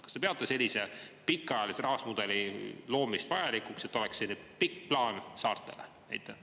Kas te peate sellise pikaajalise rahastusmudeli loomist vajalikuks, et oleks pikk plaan saartele?